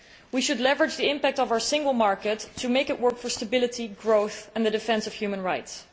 We should leverage the impact of our single market to make it work for stability, growth and the defence of human rights.